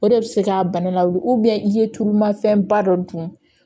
O de bɛ se k'a bana lawuli i ye tulumafɛnba dɔ dun